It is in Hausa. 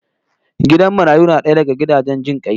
Gidan marayu na daya daga gidajen jin kai